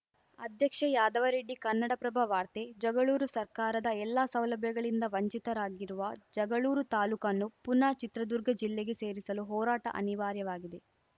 ಅಧ್ಯಕ್ಷ ಯಾದವರೆಡ್ಡಿ ಕನ್ನಡಪ್ರಭ ವಾರ್ತೆ ಜಗಳೂರು ಸರ್ಕಾರದ ಎಲ್ಲಾ ಸೌಲಭ್ಯಗಳಿಂದ ವಂಚಿತರಾಗಿರುವ ಜಗಳೂರು ತಾಲೂಕನ್ನು ಪುನಃ ಚಿತ್ರದುರ್ಗ ಜಿಲ್ಲೆಗೆ ಸೇರಿಸಲು ಹೋರಾಟ ಅನಿವಾರ್ಯವಾಗಿದೆ